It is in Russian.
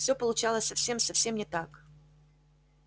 всё получалось совсем совсем не так